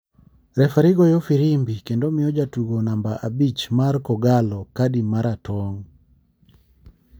refari goyo firimbi kendo miyo jatugo namba abich mar kogallo kadi mara tong.